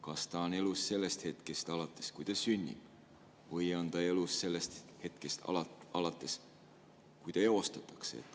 Kas ta on elus sellest hetkest alates, kui ta sünnib, või on ta elus sellest hetkest alates, kui ta eostatakse?